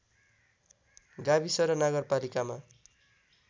गाविस र नगरपालिकामा